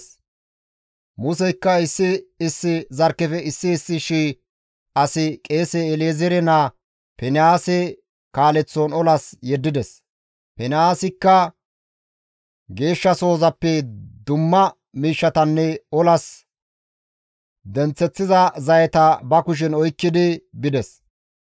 Museykka issi issi zarkkefe issi issi shii asi qeese El7ezeere naa Finihaase kaaleththon olas yeddides; Finihaasikka geeshshasozappe dumma miishshatanne olas denththeththiza zayeta ba kushen oykkidi bides.